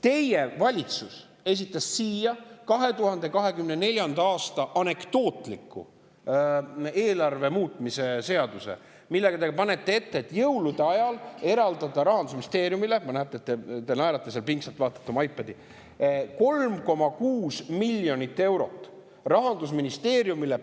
Teie valitsus esitas siia anekdootliku 2024. aasta eelarve muutmise seaduse, millega te panete ette, et jõulude ajal eraldada – ma näen, et te naerate ja seal pingsalt vaatate oma iPadi – 3,6 miljonit eurot Rahandusministeeriumile.